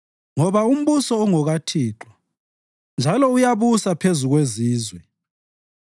ngoba umbuso ungokaThixo njalo uyabusa phezu kwezizwe.